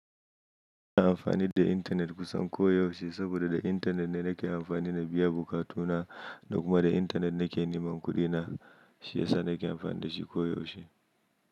Ina amfani da intanet kusan koyaushe saboda da intanet na nake amfani da biya buƙatu na da kuma da intanet nake neman kuɗi na shiyasa nake amfani da shi koyaushe.